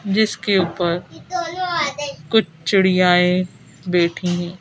जिसके ऊपर कुछ चिड़िया ये बैठी हैं।